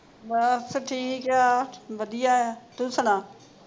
ਬੱਸ ਠੀਕ ਆ ਵਧੀਆ ਤੂੰ ਸੁਣਾ